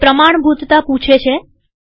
તે પ્રમાણભૂતતા માટે પૂછે છે